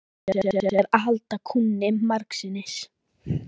Hann hafði ekki hugsað sér að halda kúnni margsinnis.